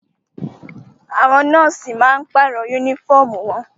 Àwọn nọ́ọ̀sì máa pàrọ̀ yúnífọ̀mù wọn